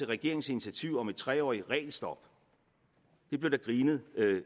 regeringens initiativ om et treårigt regelstop det blev der grinet